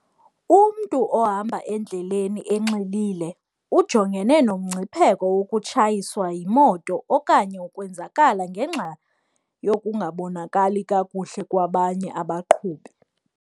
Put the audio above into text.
Umntu ohamba endleleni enxilile ujongene nomngcipheko wokutshayiswa yimoto okanye ukwenzakala ngenxa yokungabonakali kakuhle kwabanye abaqhubi.